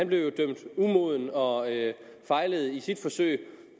blev dømt umoden og fejlede i sit forsøg